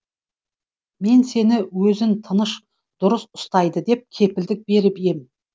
мен сені өзін тыныш дұрыс ұстайды деп кепілдік беріп ем